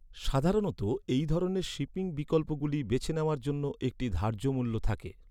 সাধারণত এই ধরনের শিপিং বিকল্পগুলি বেছে নেওয়ার জন্য একটি ধার্য্যমূল্য থাকে।